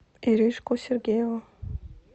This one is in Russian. иришку сергееву